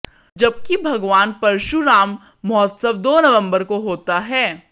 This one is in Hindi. जबकि भगवान परशुराम महोत्सव दो नंवबर को होता है